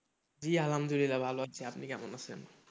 জি আলহামদুলিল্লাহ ভালো আছি, আপনি কেমন আছেন?